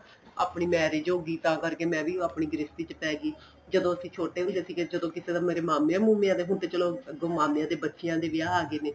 ਆਪਣੀ marriage ਹੋਗੀ ਤਾਂ ਕਰਕੇ ਮੈਂ ਵੀ ਆਪਣੀ ਗ੍ਰਸਤੀ ਚ ਪੈ ਗਏ ਜਦੋਂ ਅਸੀਂ ਛੋਟੋ ਹੁੰਦੇ ਸੀਗੇ ਜਦੋਂ ਕਿਸੇ ਦਾ ਮੇਰੇ ਮਾਮਿਆਂ ਮੁਮੀਆਂ ਦਾ ਹੁਣ ਤੇ ਚਲੋਂ ਅੱਗੋ ਮਾਮਿਆਂ ਦੇ ਬੱਚਿਆਂ ਦੇ ਵਿਆਹਾ ਆ ਗਏ ਨੇ